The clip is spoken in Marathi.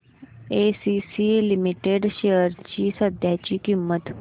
एसीसी लिमिटेड शेअर्स ची सध्याची किंमत